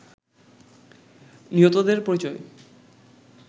নিহতদের পরিচয়